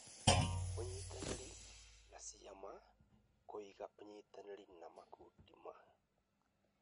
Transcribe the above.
ũnyitanĩri na ciama: Kũiga ũnyitanĩri na makundi ma